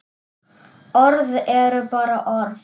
Orð eru bara orð.